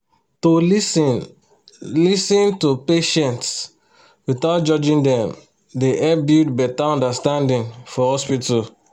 to lis ten lis ten to patients without judging dem dey help build better understanding for hospital